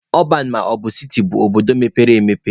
Ọban maọbụ siti bụ obodo mepere emepe